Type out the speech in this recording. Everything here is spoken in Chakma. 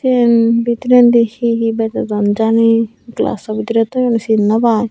siyen bidirendi hihi bejodon jani glasso bidirey toyon sin nw pai.